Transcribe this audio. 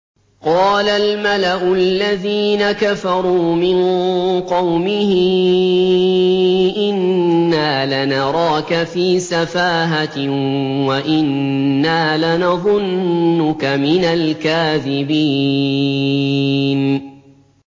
قَالَ الْمَلَأُ الَّذِينَ كَفَرُوا مِن قَوْمِهِ إِنَّا لَنَرَاكَ فِي سَفَاهَةٍ وَإِنَّا لَنَظُنُّكَ مِنَ الْكَاذِبِينَ